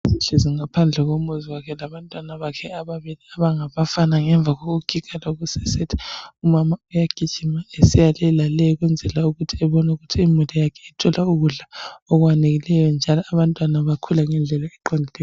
Ehlezi ngaphandle komuzi wakhe labantwana bakhe ababili abangabafana ngemva kokugiga lokusesetha umama uyagijima esiyalelale ukwenzela ukuthi abone ukuthi imuli yakhe ithole ukudla okwaneleyo njalo abantwana bakhula ngendlela eqondileyo.